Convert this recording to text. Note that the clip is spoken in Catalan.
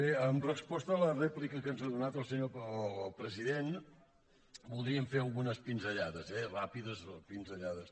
bé en resposta a la rèplica que ens ha donat el president voldríem fer algunes pinzellades eh ràpides pinzellades